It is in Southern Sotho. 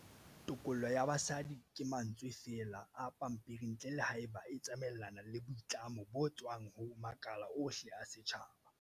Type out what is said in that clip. Tokollo ya basadi ke mantswe feela a pampering ntle le haeba e tsamaelana le boitlamo bo tswang ho makala ohle a setjhaba.